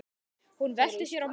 Hún velti sér á magann.